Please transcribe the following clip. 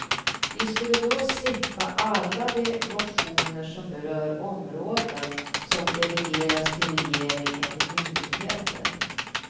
Vi skulle då slippa alla de motioner som berör områden som delegeras till regering eller myndigheter.